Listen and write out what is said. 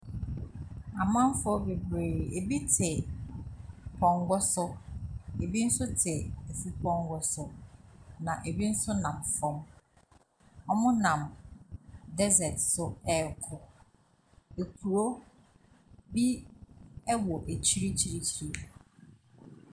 Amanfoɔ bebree, ebi te pɔnkɔ so, ebi nso te afupɔnkɔ so, na ebi nso nam fam. Wɔnam desert so rekɔ. Kuro bi wɔ akyirikyirikyiri.